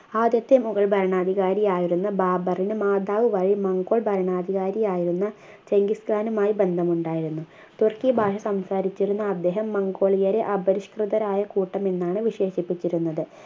ആദ്യത്തെ മുഗൾ ഭരണാധികാരിയായിരുന്ന ബാബറിന് മാതാവ് വഴി മംഗോൾ ഭരണാധികാരിയായിരുന്ന ചെങ്കിസ്ഥാനുമായി ബന്ധം ഉണ്ടായിരുന്നു തുർക്കി ഭാഷ സംസാരിച്ചിരുന്ന അദ്ദേഹം മംഗോളിയരെ അപരിഷ്കൃതരായ കൂട്ടം എന്നാണ് വിശേഷിപ്പിച്ചിരുന്നത്